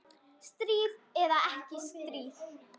Stríð eða ekki stríð.